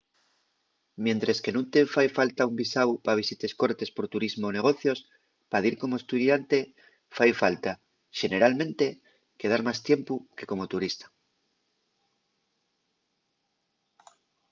mientres que nun te fai falta un visáu pa visites cortes por turismu o negocios pa dir como estudiante fai falta xeneralmente quedar más tiempu que como turista